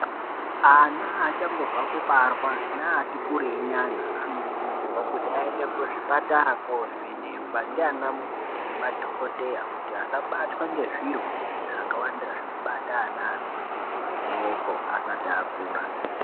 Ana achangobva kubarwa neati kureinyana anokurudzirwa kuti aende kuzvipatara kovhenekwa ndiana mukoti nemadhokodheya kuti asabatwa nezvirwere zvakawanda zvinobata ana adoko doko asati akura.